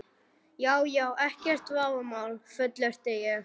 Já já, ekkert vafamál, fullyrti ég.